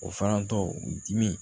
O farantɔ u dimi